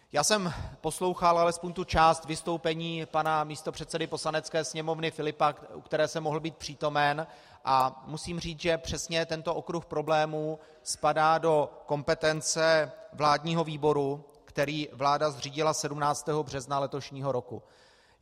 Já jsem poslouchal alespoň tu část vystoupení pana místopředsedy Poslanecké sněmovny Filipa, u které jsem mohl být přítomen, a musím říci, že přesně tento okruh problémů spadá do kompetence vládního výboru, který vláda zřídila 17. března letošního roku.